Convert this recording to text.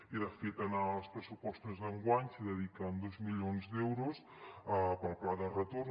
i de fet en els pressupostos d’enguany es dediquen dos milions d’euros al pla de retorn